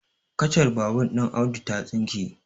kacar babur ɗin Audu ta tsinke